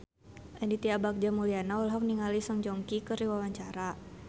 Aditya Bagja Mulyana olohok ningali Song Joong Ki keur diwawancara